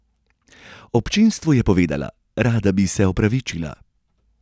Občinstvu je povedala: "Rada bi se opravičila.